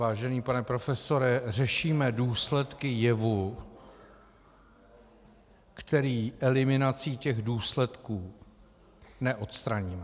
Vážený pane profesore, řešíme důsledky jevu, který eliminací těch důsledku neodstraníme.